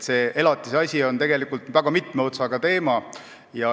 See elatise asi on tegelikult väga mitme otsaga teema.